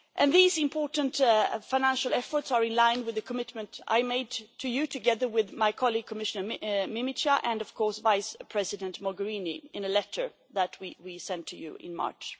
These important financial efforts are in line with the commitment I made to you, together with my colleague, Commissioner Mimica, and of course Vice President Mogherini, in a letter that we sent to you in March